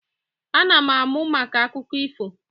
Ana m amụ maka akụkọ ifo